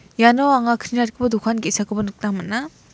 iano anga kni ratgipa dokan ge·sakoba nikna man·a.